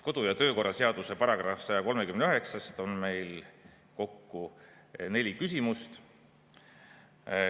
Kodu‑ ja töökorra seaduse § 139 alusel on meil kokku neli küsimust.